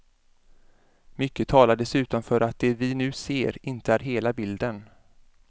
Mycket talar dessutom för att det vi nu ser inte är hela bilden.